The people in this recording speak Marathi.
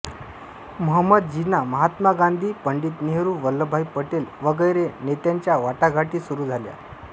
महंमद जीना महात्मा गांधी पंडित नेहरू वल्लभभाई पटेल वगैरे नेत्यांच्या वाटाघाटी सुरू झाल्या